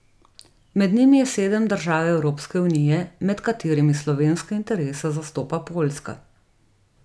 Med njimi je sedem držav Evropske unije, med katerimi slovenske interese zastopa Poljska.